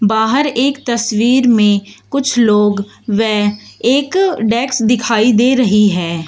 बाहर एक तस्वीर में कुछ लोग व एक डेक्स दिखाई दे रही है।